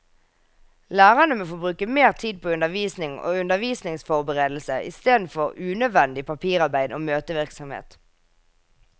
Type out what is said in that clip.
Lærerne må få bruke mer tid på undervisning og undervisningsforberedelse istedenfor unødvendig papirarbeid og møtevirksomhet.